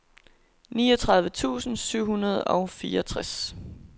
niogtredive tusind syv hundrede og fireogtres